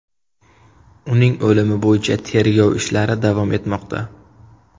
Uning o‘limi bo‘yicha tergov ishlari davom etmoqda.